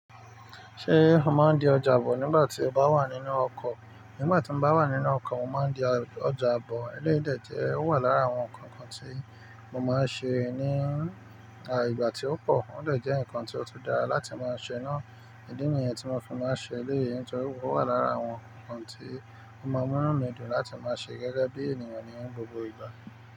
Ṣé o máa ń di ọjà bọ̀ nígbà tí o bá wà nínú ọkọ̀? Nígbà tí mo bá wà nínú ọkọ̀, mo máa ń di ọjà bọ̀. Eléyìí dé jẹ́ ó wà lára àwọn ǹkankan tí mo ma n ṣe nígbà tí ó pọ̀ wọn dé nko ti o dara láti ma ṣe naa. Idí nìyẹn tí mo fi máa n ṣe eléyii nítorí pé ó wà lára àwọn ǹkan tí ó máa ń mu inu mí dùn láti máa ṣe gẹ́gẹ́ bí ènìyàn ní gbogbo ìgbà.